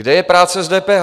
Kde je práce s DPH?